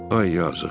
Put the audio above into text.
Ay yazıq.